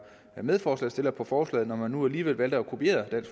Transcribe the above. medforslagsstiller på forslaget når man nu alligevel valgte at kopiere